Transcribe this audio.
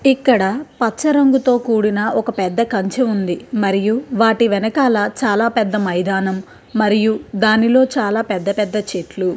ఇక్కడ పచ్చ రంగుతో కూడిన ఒక పెద్ద కంచు ఉంది. మరియు వాటి వెనకాల చాలా పెద్ద మైదానం మరియు దానిలో చాలా పెద్ద పెద్ద చెట్లు --